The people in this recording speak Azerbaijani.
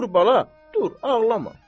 Dur bala, dur, ağlama.